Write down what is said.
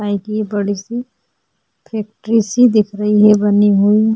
का ये की ये बड़ी सी फैक्ट्री सी दिख रही है बनी हुई है।